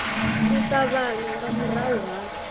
u ṱavhanya nga murahu ha